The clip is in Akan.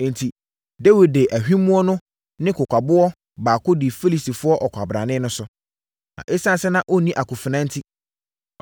Enti, Dawid de ahwimmoɔ ne kokwaboɔ baako dii Filistini ɔkwabrane no so. Na ɛsiane sɛ na ɔnni akofena enti,